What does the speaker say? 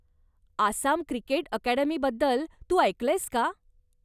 Assam cricket अकॅडमीबद्दल तू ऐकलंयस का?